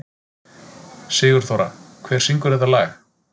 Sigurþóra, hver syngur þetta lag?